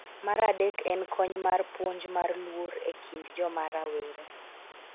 Mar adek en kony mar puonj mar luor e kind joma rawere